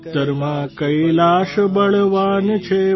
ઉત્તરમાં કૈલાશ બળવાન છે